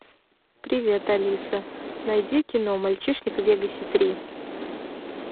привет алиса найди кино мальчишник в вегасе три